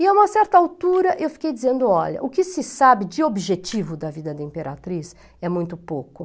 E a uma certa altura eu fiquei dizendo, olha, o que se sabe de objetivo da vida da Imperatriz é muito pouco.